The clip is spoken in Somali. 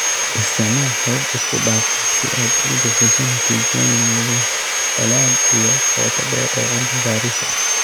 Isticmaal habab isku dhafan si aad u bixiso natiijooyin leh ballaadh iyo qoto dheer oo cilmi baaris ah